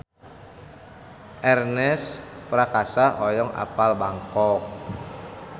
Ernest Prakasa hoyong apal Bangkok